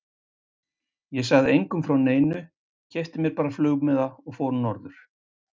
Ég sagði engum frá neinu, keypti mér bara flugmiða og fór norður.